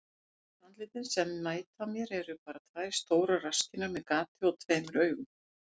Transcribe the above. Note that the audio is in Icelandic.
Sum andlitin sem mæta mér eru bara tvær stórar rasskinnar með gati og tveimur augum.